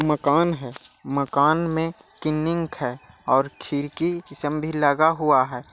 मकान है मकान मे किनिंग है और खिड़की लगा हुआ है।